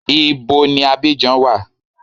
Ibo ni Abidjan wa?